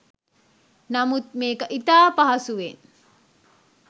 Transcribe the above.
නමුත් මේක ඉතා පහසුවෙන්